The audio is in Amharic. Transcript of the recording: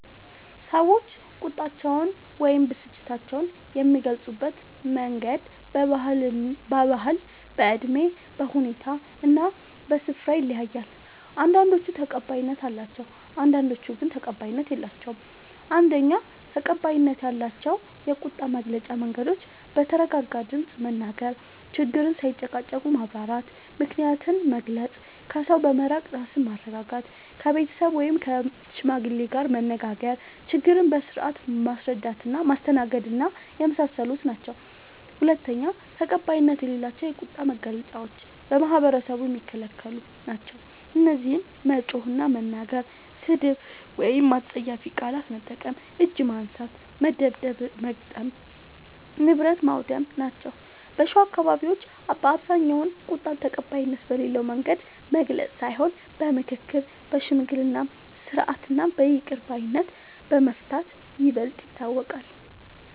ሰዎች ቁጣቸውን ወይም ብስጭታቸውን የሚገልጹበት መንገድ በባህል፣ በእድሜ፣ በሁኔታ እና በስፍራ ይለያያል። አንዳንዶቹ ተቀባይነት አላቸው፣ አንዳንዶቹ ግን ተቀባይነት የላቸዉም። ፩. ተቀባይነት ያላቸው የቁጣ መግለጫ መንገዶች፦ በተረጋጋ ድምፅ መናገር፣ ችግርን ሳይጨቃጨቁ ማብራራት፣ ምክንያትን መግለጽ፣ ከሰው በመራቅ ራስን ማረጋጋት፣ ከቤተሰብ ወይም ከሽማግሌ ጋር መነጋገር፣ ችግርን በስርዓት ማስተናገድና የመሳሰሉት ናቸዉ። ፪. ተቀባይነት የሌላቸው የቁጣ መግለጫዎች በማህበረሰቡ የሚከለክሉ ናቸዉ። እነዚህም መጮህ እና መናገር፣ ስድብ ወይም አስጸያፊ ቃላት መጠቀም፣ እጅ ማንሳት (መደብደብ/መግጠም) ፣ ንብረት ማዉደም ናቸዉ። በሸዋ አካባቢዎች በአብዛኛዉ ቁጣን ተቀባይነት በሌለዉ መንገድ መግለጽ ሳይሆን በምክክር፣ በሽምግልና ስርዓት እና በይቅር ባይነት በመፍታት ይበልጥ ይታወቃል።